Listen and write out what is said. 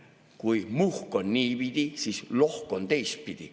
Kui muhk on niipidi, siis lohk on teistpidi.